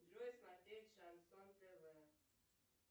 джой смотреть шансон тв